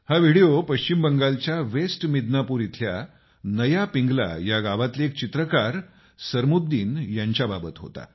हा व्हिडीओ पश्चिम बंगालच्या वेस्ट मिदनापूर इथल्या नया पिंगला या गावातले एक चित्रकार सरमुद्दीन यांच्याबाबत होता